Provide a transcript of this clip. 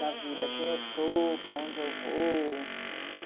da vida, quem eu sou, para onde eu vou.